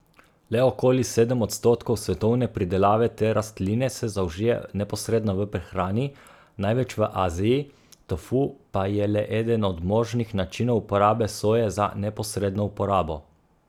Le okoli sedem odstotkov svetovne pridelave te rastline se zaužije neposredno v prehrani, največ v Aziji, tofu pa je le eden od možnih načinov uporabe soje za neposredno uporabo.